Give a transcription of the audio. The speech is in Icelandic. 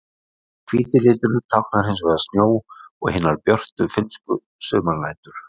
Hvíti liturinn táknar hins vegar snjó og hinar björtu finnsku sumarnætur.